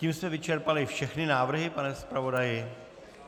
Tím jsme vyčerpali všechny návrhy, pane zpravodaji?